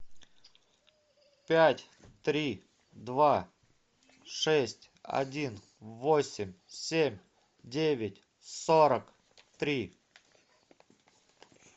пять три два шесть один восемь семь девять сорок три